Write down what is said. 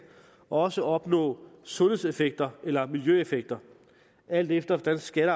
også opnå sundhedseffekter eller miiljøeffekter alt efter hvordan skatte